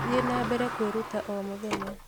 Thiĩ na mbere kwĩruta o mũthenya.